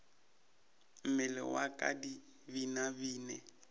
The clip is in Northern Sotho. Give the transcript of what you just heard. mmele wa ka di binabine